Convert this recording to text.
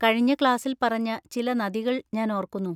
കഴിഞ്ഞ ക്ലാസ്സിൽ പറഞ്ഞ ചില നദികൾ ഞാൻ ഓർക്കുന്നു.